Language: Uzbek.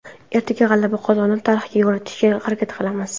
Ertaga g‘alaba qozonib, tarix yaratishga harakat qilamiz.